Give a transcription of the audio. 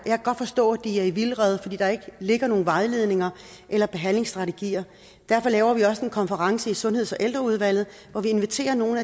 kan godt forstå at de er i vildrede fordi der ikke ligger nogen vejledninger eller behandlingsstrategier derfor laver vi også en konference i sundheds og ældreudvalget hvor vi inviterer nogle